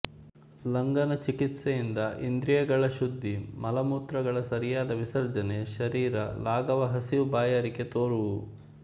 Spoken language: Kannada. ಲಂಘನಚಿಕಿತ್ಸೆಯಿಂದ ಇಂದ್ರಿಯಗಳ ಶುದ್ಧಿ ಮಲಮೂತ್ರಗಳ ಸರಿಯಾದ ವಿಸರ್ಜನೆ ಶರೀರ ಲಾಘವ ಹಸಿವು ಬಾಯಾರಿಕೆ ತೋರುವುವು